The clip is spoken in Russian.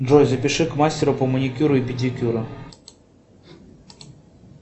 джой запиши к мастеру по маникюру и педикюру